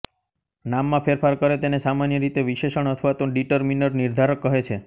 નામમાં ફેરફાર કરે તેને સામાન્ય રીતે વિશેષણ અથવા તો ડિટરમીનર નિર્ધારક કહે છે